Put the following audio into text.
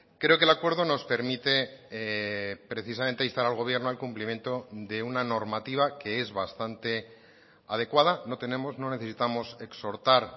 creo que el acuerdo nos permite precisamente instar al gobierno al cumplimiento de una normativa que es bastante adecuada no tenemos no necesitamos exhortar